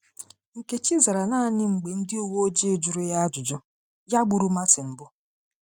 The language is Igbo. Nkechi zara naanị mgbe ndị uwe ojii jụrụ ya jụrụ ya agbụrụ Màrtin bụ.